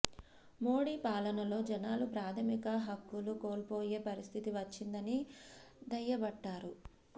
మోడీ పాలనలో జనాలు ప్రాథమిక హక్కులు కోల్పోయే పరిస్ధితి వచ్చిందని దయ్యబట్టారు